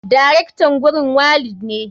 Darektan gurin walid ne.